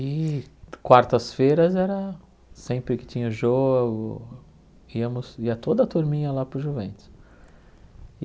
E quartas-feiras, era sempre que tinha jogo, íamos ia toda a turminha lá para o Juventus.